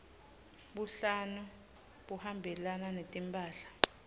buhlalu buhambelana netimphahla